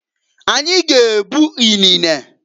Anyi g'ebu inene.